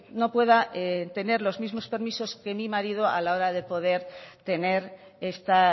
no pueda tener los mismos permisos que mi marido a la hora de poder tener esta